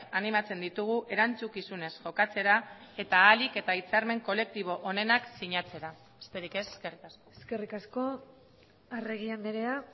animatzen ditugu erantzukizunez jokatzera eta ahalik eta hitzarmen kolektibo onenak sinatzera besterik ez eskerrik asko eskerrik asko arregi andrea